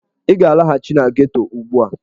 Ị ga-alaghachi na geto ugbu a!